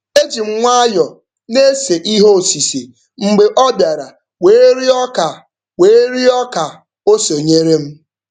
Eji m nwayọ na-ese ihe osise mgbe ọ bịara wee rịọ ka wee rịọ ka o sonyere m.